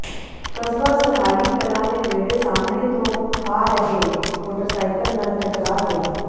ਕਸਬਾ ਸਰਹਾਲੀ ਕਲਾਂ ਦੇ ਨੇੜੇ ਸਾਹਮਣੇ ਤੋਂ ਆ ਰਹੇ ਮੋਟਰਸਾਈਕਲ ਨਾਲ ਟਕਰਾ ਗਿਆ